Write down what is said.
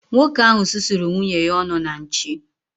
Nwoke ahụ susuru nwunye ya ọnụ na nchi